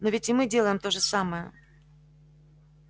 но ведь и мы делаем то же самое